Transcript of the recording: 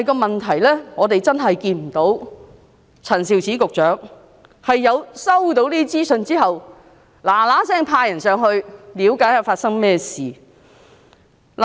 問題是，我們真的看不到陳肇始局長在收到這些資訊後，立刻派人前往內地了解發生甚麼事情。